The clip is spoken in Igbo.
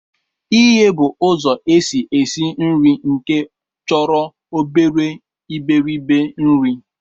Ighe bụ ụzọ esi esi nri nke chọrọ obere iberibe nri